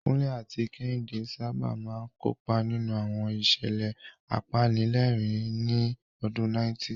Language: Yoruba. Kunle àti Kehinde sábà máa ń kópa nínú àwọn ìṣẹ̀lẹ̀ apanilẹ́rìn-ín ní ọdún 90.